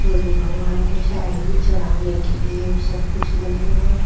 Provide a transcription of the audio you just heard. जो जो भगवान को चाहिए चढ़ाने के लिए वो सब कुछ मिलेगा।